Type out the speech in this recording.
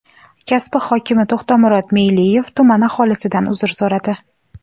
Kasbi hokimi To‘xtamurod Meyliyev tuman aholisidan uzr so‘radi.